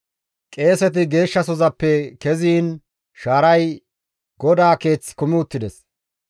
Qeeseti Geeshshasozappe keziin shaaray GODAA Keeth kumi uttides.